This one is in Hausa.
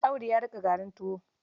Audu ya niƙa garin tuwon?